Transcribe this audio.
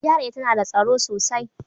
GRA tana da tsaro sosai.